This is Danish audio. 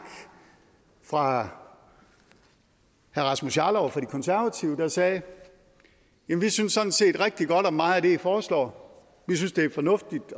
fra herre rasmus jarlov fra de konservative der sagde jamen vi synes sådan set rigtig godt om meget af det i foreslår og vi synes det er fornuftigt